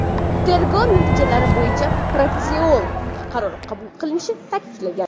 Tergov natijalari bo‘yicha protsessual qaror qabul qilinishi ta’kidlangan.